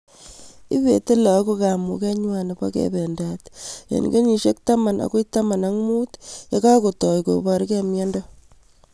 Ipeti lagok kamug'et ng'wai nepo kependat eng' kenyishek taman akoi taman ak mut ye kakotoi koprkei miondo